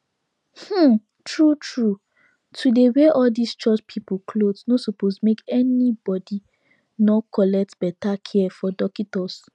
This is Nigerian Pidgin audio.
um true true to dey wear all these church people cloth nor suppose make any body nor collect beta care from dockitos